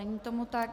Není tomu tak.